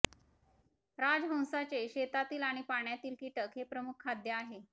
राजहंसाचे शेतातील आणि पाण्यातील कीटक हे प्रमुख खाद्य आहे